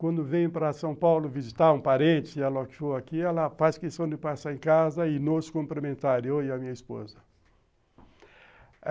Quando venho para São Paulo visitar um parente, ela faz questão de passar em casa e nos cumprimentar, eu e a minha esposa.